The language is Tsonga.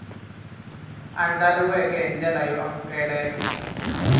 andlariweke hi ndlela yo amukeleka